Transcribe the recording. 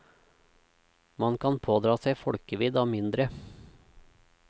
Man kan pådra seg folkevidd av mindre.